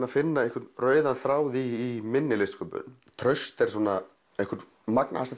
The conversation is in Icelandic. að finna einhvern rauðan þráð í minni listsköpun traust er einhver magnaðasta